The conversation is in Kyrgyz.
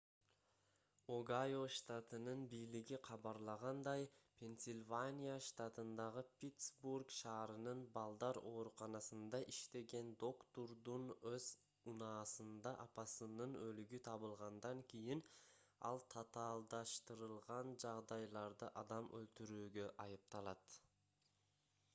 огайо штатынын бийлиги кабарлагандай пенсильвания штатындагы питсбург шаарынын балдар ооруканасында иштеген доктурдун өз унаасында апасынын өлүгү табылгандан кийин ал татаалдаштырылган жагдайларда адам өлтүрүүгө айыпталат